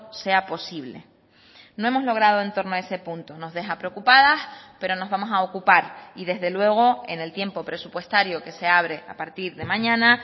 sea posible no hemos logrado en torno a ese punto nos deja preocupadas pero nos vamos a ocupar y desde luego en el tiempo presupuestario que se abre a partir de mañana